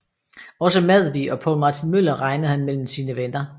Også Madvig og Poul Martin Møller regnede han mellem sine venner